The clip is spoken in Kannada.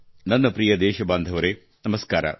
ನನ್ನ ಪ್ರಿಯ ದೇಶಬಾಂಧವರೆ ನಮಸ್ಕಾರ